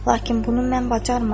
Lakin bunu mən bacarmıram.